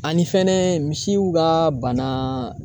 Ani fɛnɛ misiw ka bana.